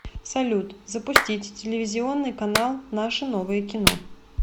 салют запустить телевизионный канал наше новое кино